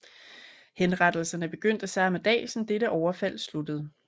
Henrettelserne begyndte samme dag som dette overfald sluttede